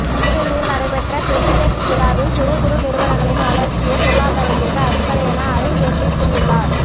புதுடெல்லியில் நடைபெற்ற க்ரிசிடெக்ஸ் விழாவில் சிறு குறு நிறுவனங்களின் வளர்ச்சியே பொருளாதாரத்திற்கு அடிப்படை என அருண் ஜேட்லி கூறியுள்ளார்